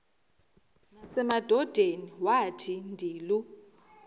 nasemadodeni wathi ndilu